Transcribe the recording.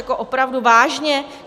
Jako opravdu vážně?